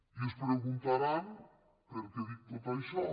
i es preguntaran per què dic tot això